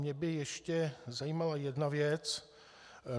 Mě by ještě zajímala jedna věc.